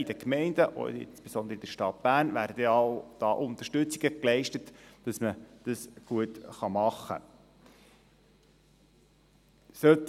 In den Gemeinden und insbesondere in der Stadt Bern wird ja auch Unterstützung geleistet, sodass man es gut machen kann.